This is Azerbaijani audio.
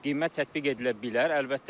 Qiymət tətbiq edilə bilər, əlbəttə ki.